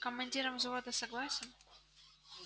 командиром взвода согласен